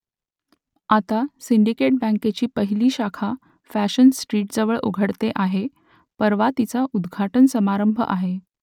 आता सिंडिकेट बँकेची पहिली शाखा फॅशन स्ट्रीटजवळ उघडते आहे परवा तिचा उद्घाटन समारंभ आहे